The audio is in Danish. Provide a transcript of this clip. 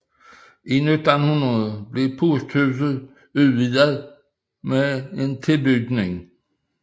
I 1900 blev posthuset udvidet med en tilbygning